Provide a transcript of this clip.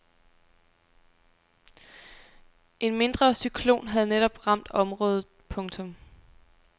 En mindre cyklon havde netop ramt området. punktum